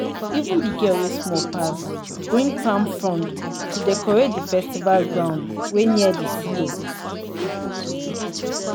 even the girl wey small pass bring palm frond to decorate di festival ground wey near the silo.